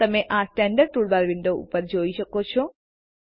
તમે આ standard toolbar window ઉપર જોઈ શકો છો